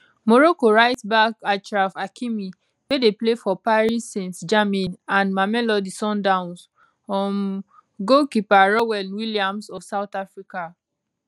morocco rightback achraf hakimi wey dey play for paris saintgermain and mamelodi sundowns um goalkeeper ronwen williams of south africa